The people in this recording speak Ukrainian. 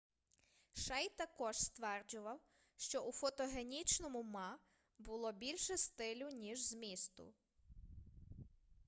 шей також стверджував що у фотогенічному ма було більше стилю ніж змісту